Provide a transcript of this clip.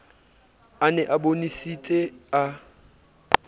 a ne a bonesitse a